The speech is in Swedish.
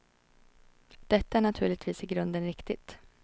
Detta är naturligtvis i grunden riktigt.